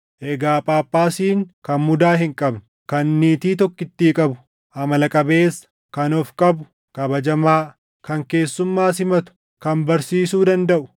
Egaa Phaaphaasiin kan mudaa hin qabne, kan niitii tokkittii qabu, amala qabeessa, kan of qabu, kabajamaa, kan keessummaa simatu, kan barsiisuu dandaʼu,